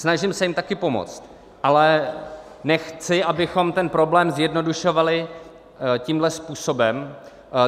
Snažím se jim také pomoct, ale nechci, abychom ten problém zjednodušovali tímto způsobem.